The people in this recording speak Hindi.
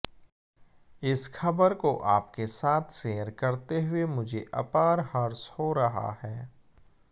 इस खबर को आपके साथ शेयर करते हुए मुझे अपार हर्ष हो रहा है